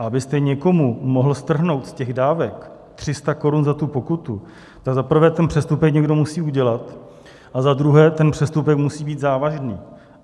A abyste někomu mohl strhnout z těch dávek 300 korun za tu pokutu, tak za prvé ten přestupek někdo musí udělat a za druhé ten přestupek musí být závažný.